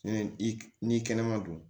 I ni kɛnɛma don